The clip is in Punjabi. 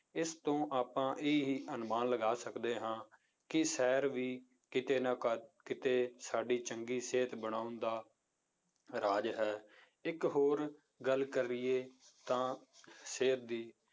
ਇਸ ਤੋਂ ਆਪਾਂ ਇਹੀ ਅਨੁਮਾਨ ਲਗਾ ਸਕਦੇੇ ਹਾਂ ਕਿ ਸੈਰ ਵੀ ਕਿਤੇ ਨਾ ਕਿਤੇ ਸਾਡੀ ਚੰਗੀ ਸਿਹਤ ਬਣਾਉਣ ਦਾ ਰਾਜ ਹੈ, ਇੱਕ ਹੋਰ ਗੱਲ ਕਰੀਏ ਤਾਂ ਸਿਹਤ ਦੀ